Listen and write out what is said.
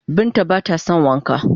Binta ba ta don Wanka.